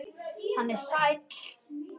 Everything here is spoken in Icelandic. Hann er sæll.